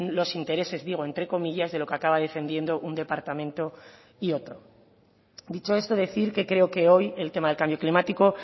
los intereses digo entre comillas de lo que acaba defendiendo un departamento y otro dicho esto decir que creo que hoy el tema del cambio climático